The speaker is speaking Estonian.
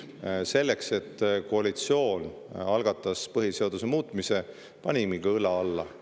Selleks, et koalitsioon algataks põhiseaduse muutmise, me panimegi õla alla.